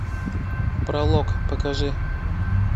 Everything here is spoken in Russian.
пролог покажи